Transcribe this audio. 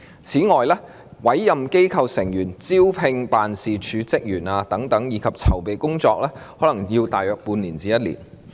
此外，委任機構成員，招聘辦事處職員等籌備工作，可能需時大約半年至1年。